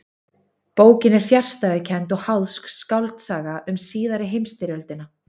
Bókin er fjarstæðukennd og háðsk skáldsaga um síðari heimstyrjöldina.